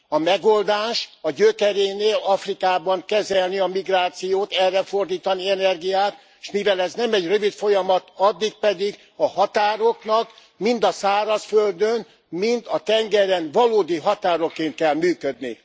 A megoldás a gyökerénél, Afrikában kezelni a migrációt, erre fordítani energiát, és mivel ez nem egy rövid folyamat, addig pedig a határoknak mind a szárazföldön, mind a tengeren valódi határokként kell működni.